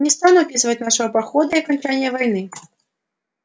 не стану описывать нашего похода и окончания войны